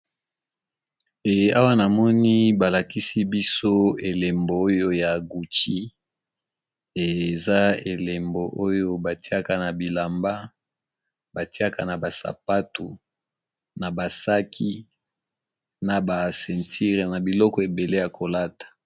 Eh awa na moni ba lakisi biso elembo oyo ya gucci. Eza elembo oyo batiaka na bilamba, batiaka na ba sapatu, na ba saki, na ba ceinture, na biloko ebele ya kolata.